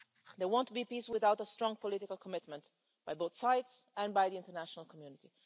There won't be peace without a strong political commitment by both sides and by the international community.